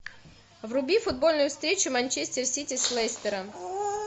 вруби футбольную встречу манчестер сити с лестером